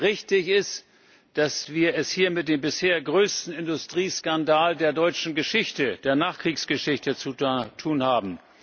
Richtig ist, dass wir es hier mit dem bisher größten Industrieskandal der deutschen Nachkriegsgeschichte zu tun haben.